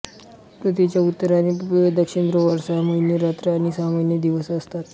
पृथ्वीच्या उत्तर आणि दक्षिण ध्रुवावर सहा महिने रात्र आणि सहा महिने दिवस असतात